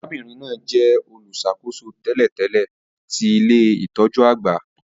Arábìnrin náà jẹ olùṣàkóso tẹ́lẹ̀tẹ́lẹ̀ ti ilé-itọju àgbà